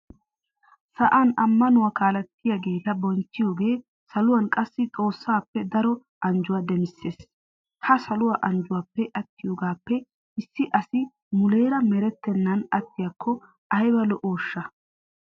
Sa'an ammanuwa kaalettiyageeta bonchchiyogee saluwan qassi xoossaappe daro anjjuwa demissees. Ha Saluwa anjjuwappe attiyogaappe issi asi muleera merettennan attiyakko ayba lo"ooshsha!